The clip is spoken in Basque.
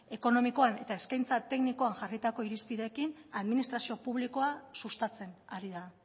ekonomikoan eta eskaintza teknikoan jarritako irizpideekin administrazio publikoa sustatzen ari da